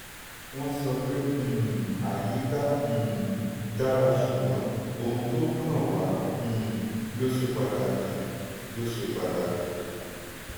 wọ́n sọ pé um àyíká um dára ṣùgbọ́n ohun tó kan wa um ló ṣe pataki. ló ṣe pataki.